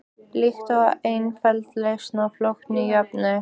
Líkt og einföld lausn á flókinni jöfnu.